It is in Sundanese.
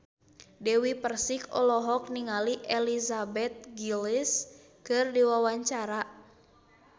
Dewi Persik olohok ningali Elizabeth Gillies keur diwawancara